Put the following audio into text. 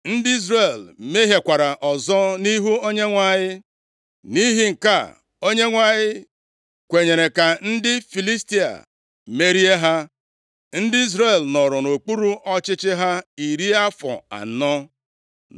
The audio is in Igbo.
Ndị Izrel mehiekwara ọzọ nʼihu onyenwe anyị. Nʼihi nke a, Onyenwe anyị kwenyere ka ndị Filistia merie ha. Ndị Izrel nọrọ nʼokpuru ọchịchị ha iri afọ anọ.